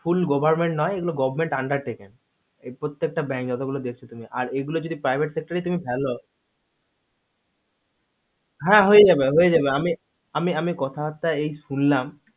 full government নই এগুলো government undertaking এ পত্যেক টা bank যত গুলো দেখছো তুমি আর এগুলো তুমি private sector এ তুমি ফেলো তুমি হা হয়ে যাবে হা হয়ে যাবে আমি কথা একটা এই শুনলাম এই